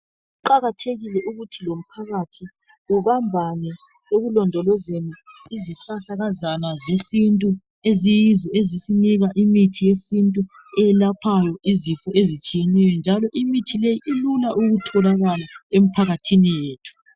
Kuqakathekile ukuthi lomphakathi ubambane ekulondolezeni izihlahlakazana sesintu esiyizo ezisinika imithi yesintu eyelaphayo izifo ezitshineyo njalo imithi le ilula ukutholakala emphakathini yethu.